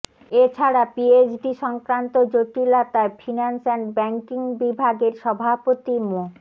এছাড়া পিএইচডি সংক্রান্ত জটিলতায় ফিন্যান্স অ্যান্ড ব্যাংকিং বিভাগের সভাপতি মো